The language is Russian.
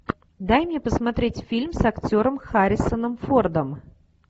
дай мне посмотреть фильм с актером харрисоном фордом